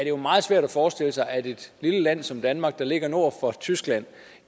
jo meget svært at forestille sig at et lille land som danmark der ligger nord for tyskland